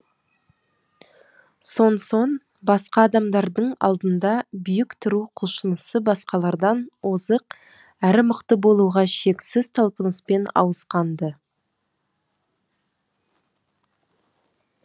сонсоң басқа адамдардың алдында биік тұру құлшынысы басқалардан озық әрі мықты болуға шексіз талпыныспен ауысқан ды